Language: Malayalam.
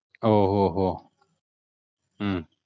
ഓഹ് ഓഹ് ഓഹ് ഉം